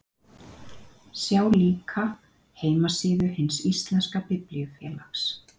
sjá líka heimasíðu hins íslenska biblíufélags